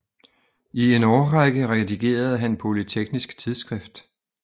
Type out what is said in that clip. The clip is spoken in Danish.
I en årrække redigerede han Polyteknisk Tidsskrift